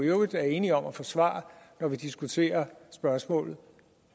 øvrigt er enige om at forsvare når vi diskuterer spørgsmålet